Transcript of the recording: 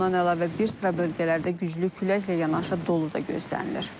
Bundan əlavə bir sıra bölgələrdə güclü küləklə yanaşı dolu da gözlənilir.